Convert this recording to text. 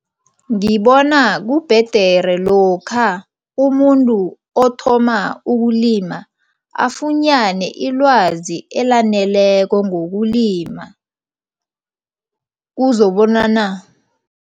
Ngibona kubhedere lokha umuntu othoma ukulima afunyane ilwazi elaneleko ngokulima kuzobonana.